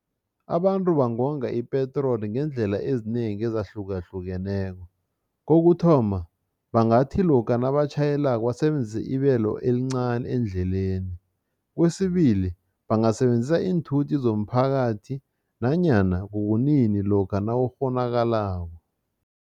Abantu bangonga ipetroli ngeendlela ezinengi ezahlukahlukeneko. Kokuthoma, bangathi lokha nabatjhayelako basebenzise ibelo elincani endleleni. Kwesibili, bangasebenzisa iinthuthi zomphakathi nanyana kukunini lokha nakukghonakalako.